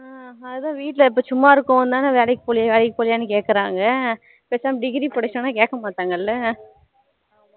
ஹம் அதான் வீட்டுல இப்போ சும்மா இருக்கோம்னூ தானா வேலைக்கு போகலயா வேலைக்கு போகலயா கேக்ககுறங்கா பேசாம degree படிச்சோம்னா கேக்க மாட்டாங்கள